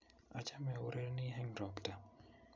Achame au rereni eng' robta